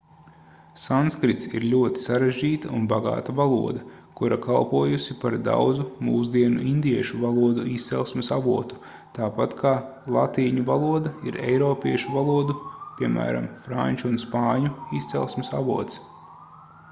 sanskrits ir ļoti sarežģīta un bagāta valoda kura kalpojusi par daudzu mūsdienu indiešu valodu izcelsmes avotu tāpat kā latīņu valoda ir eiropiešu valodu piemēram franču un spāņu izcelsmes avots